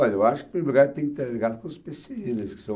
eu acho que, em primeiro lugar, tem que estar ligado com os pê cê i sê, que são...